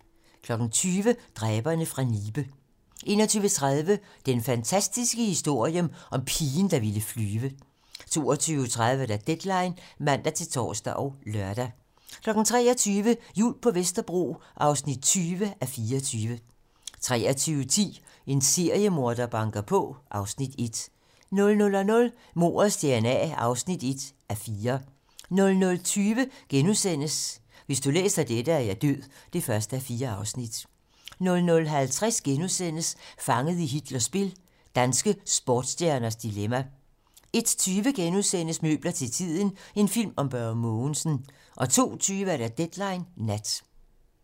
20:00: Dræberne fra Nibe 21:30: Den fantastiske historie om pigen, der ville flyve 22:30: Deadline (man-tor og lør) 23:00: Jul på Vesterbro (20:24) 23:10: En seriemorder banker på (Afs. 1) 00:00: Mordets dna (1:4) 00:20: Hvis du læser dette, er jeg død (1:4)* 00:50: Fanget i Hitlers spil - danske sportsstjerners dilemma * 01:20: Møbler til tiden - en film om Børge Mogensen * 02:20: Deadline nat